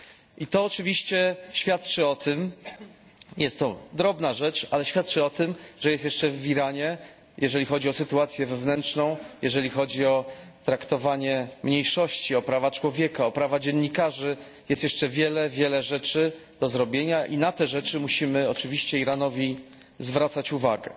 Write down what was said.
I to oczywiście świadczy o tym jest to drobna rzecz, ale świadczy o tym że jest jeszcze w Iranie, jeżeli chodzi o sytuację wewnętrzną, jeżeli chodzi o traktowanie mniejszości, o prawa człowieka, o prawa dziennikarzy, jest jeszcze wiele, wiele rzeczy do zrobienia i na te rzeczy musimy oczywiście Iranowi zwracać uwagę.